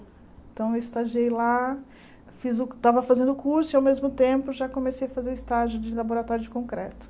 Então eu estagiei lá, fiz o estava fazendo o curso e ao mesmo tempo já comecei a fazer o estágio de laboratório de concreto.